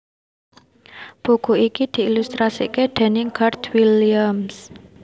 Buku iki diilustrasèkaké déning Garth Williams